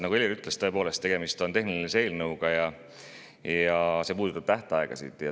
Nagu Helir ütles, tegemist on tehnilise eelnõuga, mis puudutab tähtaegasid.